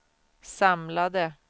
samlade